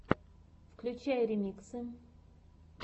включай ремиксы